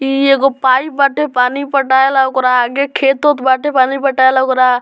इ एगो पाइप बाटे पानी पटाय ला | ओकरा आगे खेत उत बाटे पानी पटाय ला ओकरा --